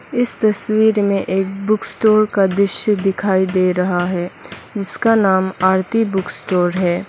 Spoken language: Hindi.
इस तस्वीर में एक बुक स्टोर का दृश्य दिखाई दे रहा है जिसका नाम आरती बुक स्टोर है।